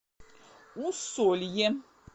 усолье